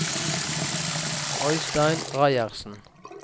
Øistein Reiersen